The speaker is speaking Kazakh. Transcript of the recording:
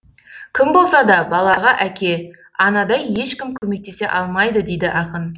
кім болса да балаға әке анадай ешкім көмектесе алмайды дейді ақын